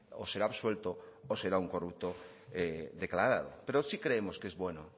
o será absuelto o será un corrupto declarado pero sí creemos que es bueno